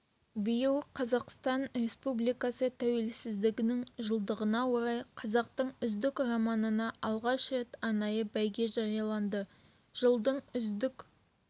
биыл қазақстан республикасы тәуелсіздігінің жылдығына орай қазақтың үздік романына алғаш рет арнайы бәйге жарияланды жылдың үздік